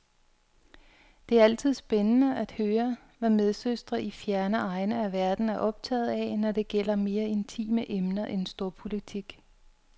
Det er altid spændende at høre, hvad medsøstre i fjerne egne af verden er optaget af, når det gælder mere intime emner end storpolitik.